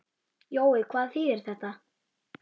Jói, hvað þýðir þetta?